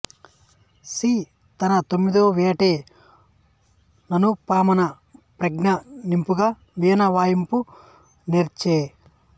see తనతొమ్మిదవయేట ననుపమాన ప్రజ్ఞ నింపుగా వీణ వాయింప నేర్చె